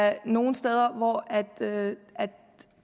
er nogle steder hvor